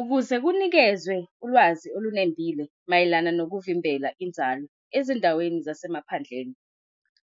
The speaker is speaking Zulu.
Ukuze kunikezwe ulwazi olunembile mayelana nokuvimbela inzalo ezindaweni zasemaphandleni,